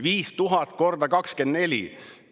5000 × 24!